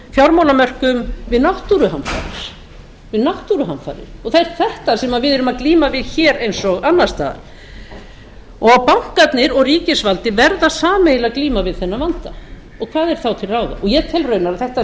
fjármálamörkuðum við náttúruhamfarir við náttúruhamfarir og það er þetta sem við erum að glíma við núna hér eins og annars staðar og bankarnir og ríkisvaldið verða sameiginlega að glíma við þennan vanda og hvað er þá til ráða ég tel raunar að þetta